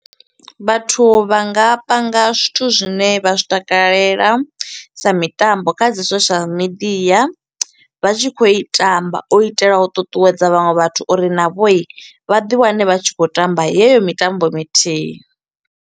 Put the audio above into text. Vhathu vha nga panga zwithu zwi ne vha zwi takalela sa mitambo kha dzi social media vha tshi kho u i tamba, u itela u ṱuṱuwedza vhaṅwe vhathu uri navho i, vha ḓi wane vha tshi kho u tamba yeyo mitambo mithihi.